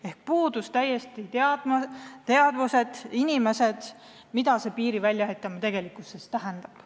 Ehk puudus täiesti teadmine, mida piiri väljaehitamine tähendab.